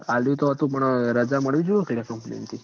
આલ્યું તો અતું પણ રજા મળવી જોઈએ ન ક લ્યા company મથી